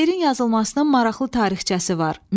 Şeirin yazılmasının maraqlı tarixçəsi var.